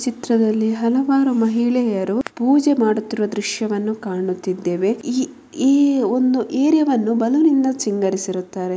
ಚಿತ್ರದಲ್ಲಿ ಹಲವಾರು ಮಹಿಳೆಯರು ಪೂಜೆ ಮಾಡುತ್ತಿರುವ ದೃಶವನ್ನು ಕಾಣುತ್ತಿದ್ಧೇವೆ ಈ ಒಂದು ಈ ಒಂದು ಏರಿಯಾವನ್ನು ಬಲ್ಲೋನ್ನಿಂದ ಸಿಂಗರಿಸಿದ್ದಾರೆ.